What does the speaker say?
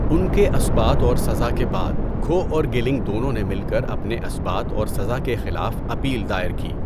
ان کے اثبات اور سزا کے بعد کھو اور گیلنگ دونوں نے مل کر اپنے اثبات اور سزا کے خلاف اپیل دائر کی۔